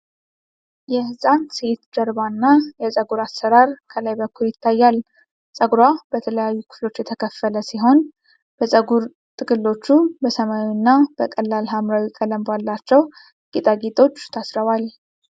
የሕፃን ሴት ጀርባና የፀጉር አሠራር ከላይ በኩል ይታያል። ፀጉሯ በተለያዩ ክፍሎች የተከፈለ ሲሆን፣ የፀጉር ጥቅሎቹ በሰማያዊና በቀላል ሐምራዊ ቀለም ባላቸው ጌጣጌጦች ታስረዋል።